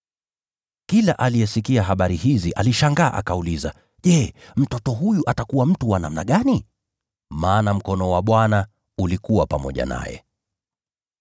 Kila aliyesikia habari hizi alishangaa akauliza, “Je, mtoto huyu atakuwa mtu wa namna gani?” Maana mkono wa Bwana ulikuwa pamoja naye.